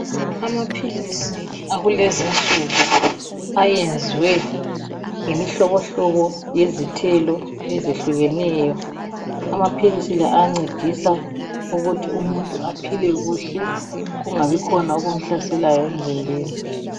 Amaphilizi akulezi insuku ayenziwe ngemihlobohlobo yezithelo ezehlukeneyo, amaphilisi la ancedisa ukuthi umuntu aphile kuhle kungabikhona okumhlaselayo emzimbeni.